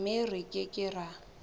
mme re ke ke ra